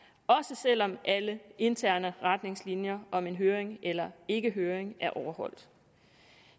selv om alle interne retningslinjer om en høring eller ikke høring er overholdt